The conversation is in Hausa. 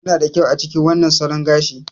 Kuna da kyau a cikin wannan salon gashi.